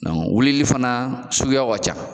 Dɔn wulili fana suguyaw ka ca